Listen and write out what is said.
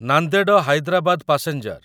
Nanded Hyderabad passenger